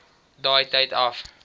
daai tyd af